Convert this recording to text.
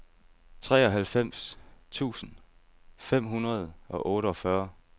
treoghalvfems tusind fem hundrede og otteogfyrre